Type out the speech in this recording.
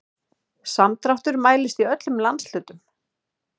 Samdráttur mælist í öllum landshlutum